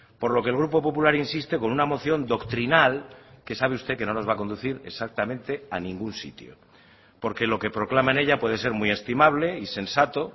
por lo que el grupo popular insiste con una moción doctrinal que sabe usted que no nos va a conducir exactamente a ningún sitio porque lo que proclaman ella puede ser muy estimable y sensato